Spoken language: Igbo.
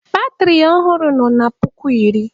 Batịrị ọhụrụ nọ na puku iri.